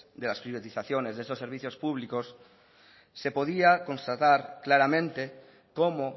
de las privatizaciones de estos servicios públicos se podía constatar claramente cómo